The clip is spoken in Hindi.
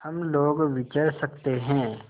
हम लोग विचर सकते हैं